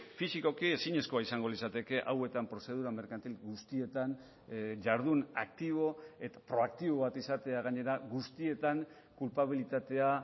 fisikoki ezinezkoa izango litzateke hauetan prozedura merkantil guztietan jardun aktibo eta proaktibo bat izatea gainera guztietan kulpabilitatea